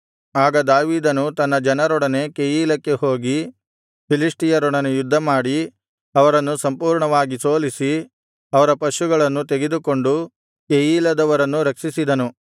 ಆಗ ದಾವೀದನು ತನ್ನ ಜನರೊಡನೆ ಕೆಯೀಲಕ್ಕೆ ಹೋಗಿ ಫಿಲಿಷ್ಟಿಯರೊಡನೆ ಯುದ್ಧಮಾಡಿ ಅವರನ್ನು ಸಂಪೂರ್ಣವಾಗಿ ಸೋಲಿಸಿ ಅವರ ಪಶುಗಳನ್ನು ತೆಗೆದುಕೊಂಡು ಕೆಯೀಲದವರನ್ನು ರಕ್ಷಿಸಿದನು